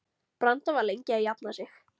Branda var lengi að jafna sig.